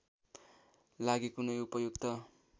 लागि कुनै उपयुक्त